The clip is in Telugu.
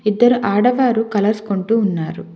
ఇద్దరు ఆడవారు కలర్స్ కొంటూ ఉన్నారు.